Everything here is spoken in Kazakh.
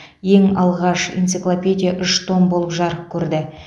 ең алғаш энциклопедия үш том болып жарық көрді